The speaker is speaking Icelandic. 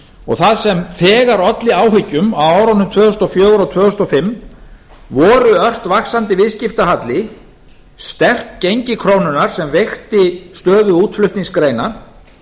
og það sem þegar olli áhyggjum á árunum tvö þúsund og fjögur og tvö þúsund og fimm voru ört vaxandi viðskiptahalli sterkt gengi krónunnar sem veikti stöðu útflutningsgreina